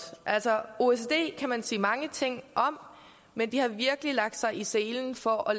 altså oecd kan man sige mange ting om men de har virkelig lagt sig i selen for at